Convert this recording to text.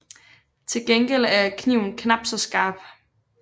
Til gengæld er kniven knapt så skarp